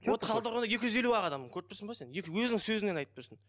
вот талдықорғанда екі жүз елу ақ адам көріп тұрсың ба сен енді өзіңнің сөзінен айтып тұрсың